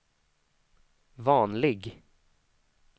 vanlig